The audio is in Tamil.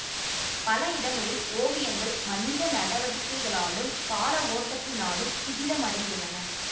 பல இடங்களில் ஓவியங்கள் மனித நடவடிக்கைகளாலும் கால ஓட்டத்தினாலும் சிதிலமடைந்துள்ளன